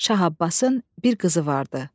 Şah Abbasın bir qızı vardı.